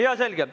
Jaa, selge.